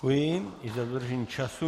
Děkuji i za dodržení času.